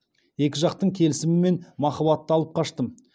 екі жақтың келісімімен махаббаты алып қаштым